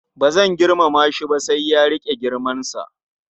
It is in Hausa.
Ba zan girmama shi ba sai ya riƙe girmansa.